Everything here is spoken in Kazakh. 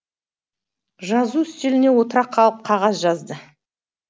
жазу үстеліне отыра қалып қағаз жазды